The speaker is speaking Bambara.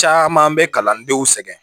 Caman bɛ kalandenw sɛgɛn